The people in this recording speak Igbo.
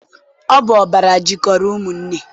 Ọ bụ ọbara jikọrọ ụmụnne.